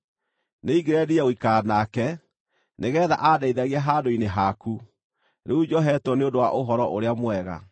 Nĩingĩrendire gũikara nake, nĩgeetha andeithagie handũ-inĩ haku, rĩu njohetwo nĩ ũndũ wa Ũhoro-ũrĩa-Mwega.